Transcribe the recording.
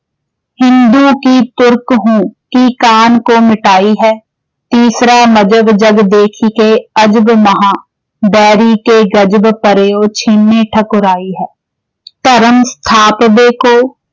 ਹਿੰਦੂ ਕਿ ਤੁਰਕ ਹੂੰ, ਕੀ ਕਾਨ ਕੋ ਮਿਟਾਈ ਹੈ।। ਤੀਸਰਾ ਮਜਬ ਜਗ ਦੇਖ ਕੇ ਅਜਬ ਮਹਾ।। ਬੇਰੀ ਕੇ ਗਜਬ ਪਰਯੋ ਛੀਨੈ ਠਕੁਰਾਈ ਹੈ।। ਧਰਮ ਸਥਾਪਨੇ ਕੋ